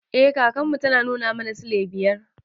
Eh kakan mu tana nuna mana silai biyar.